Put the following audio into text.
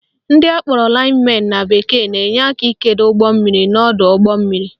Ndị akpọrọ lines men na bekee na-enye aka ikedo ugbommiri n'ọdọụgbọmmiri